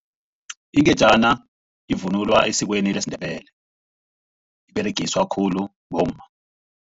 Ingejana ivunulwa esikweni lesiNdebele. Liberegiswa khulu bomma.